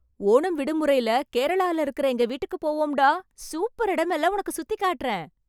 ஓணம் விடுமுறைல கேரளால இருக்கற எங்க வீட்டுக்கு போவோம்டா... சூப்பர் எடமெல்லாம் உனக்கு சுத்திக் காட்டறேன்.